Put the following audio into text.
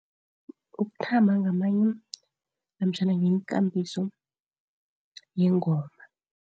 Ukuthamba ngamanye, namtjhana yikambiso yengoma.